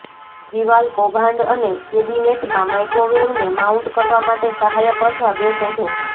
દિવાલ કૌભાંડ અને કેબિનેટમાં માઇક્રોવેવને માઉન્ટ કરવા માટે સહાયક અથવા બે શોધો